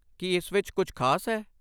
ਕੀ ਇਸ ਵਿੱਚ ਕੁਝ ਖਾਸ ਹੈ?